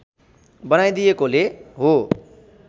बनाइदिएकोले हो